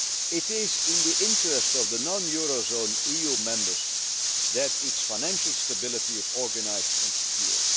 It is in the interest of the non eurozone EU members that its financial stability is organised and secured.